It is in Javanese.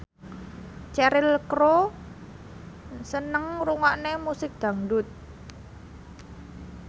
Cheryl Crow seneng ngrungokne musik dangdut